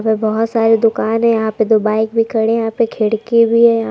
और बहुत सारे दुकान हैं यहां पे दो बाइक भी खड़े हैं यहां पे खिड़की भी है यहां।